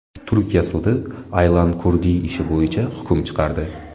Turkiya sudi Aylan Kurdiy ishi bo‘yicha hukm chiqardi.